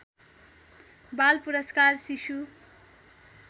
बाल पुरस्कार शिशु